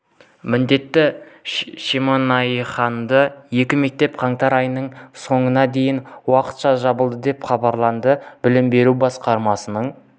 міндетті шемонаихадағы екі мектеп қаңтар айының соңына дейін уақытша жабылады деп хабарлады білім беру басқармасының